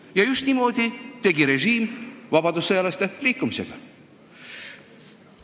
" Ja just niimoodi tegi režiim vabadussõjalaste liikumisega.